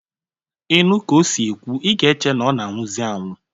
Ị nụ ka o si ekwu, i ga-eche na ọ na-anwụzị anwụ.